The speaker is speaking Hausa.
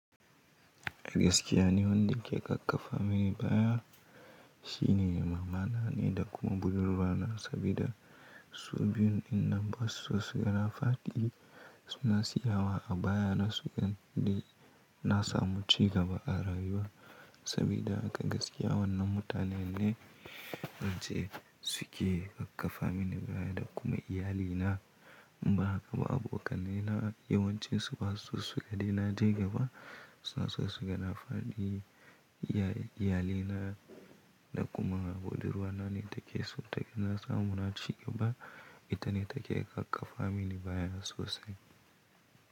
A gaskiya ni wanda ya ke kakkafa mini baya shine mamana ne da kuma budurwa na sabida su biyun in na basu sai na fadi suna siyawa a baya na su nan da na samu cigaba a rayuwa sabida haka gaskiya wannan mutanen ne wacce suke kakkafa mini baya da kuma iyalina. Ba haka ba abokanai na yawancin su basu so suga dai na je gaba. Suna so su ga na fadi iyaye iyalaina da kuma budurwa na ne take so taga na samu na cigaba. Ita ne take kakkafa mini baya sosai.